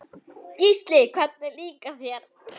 Gísli: Hvernig líkaði þér?